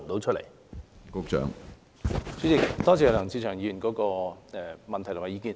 主席，多謝梁志祥議員的補充質詢和意見。